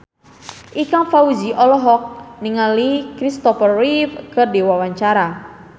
Ikang Fawzi olohok ningali Kristopher Reeve keur diwawancara